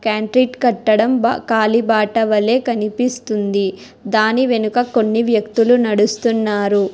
కట్టడం బ కాలిబాట వలె కనిపిస్తుంది దాని వెనుక కొన్ని వ్యక్తులు నడుస్తున్నారు.